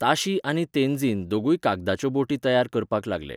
ताशी आनी तेन्झीन दोगूय कागदाच्यो बोटी तयार करपाक लागले.